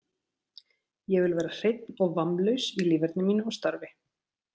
Ég vil vera hreinn og vammlaus í líferni mínu og starfi.